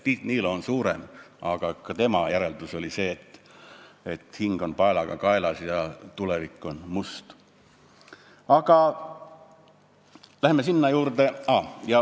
Tiit Niilo on suurem tootja, aga ka tema järeldus on see, et hing on paelaga kaelas ja tulevik on must.